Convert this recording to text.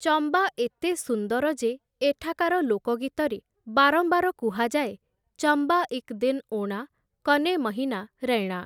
ଚମ୍ବା ଏତେ ସୁନ୍ଦର ଯେ ଏଠାକାର ଲୋକଗୀତରେ ବାରମ୍ବାର କୁହାଯାଏ 'ଚମ୍ବା ଇକ୍ ଦିନ ଓଣା କନେ ମହିନା ରୈଣା' ।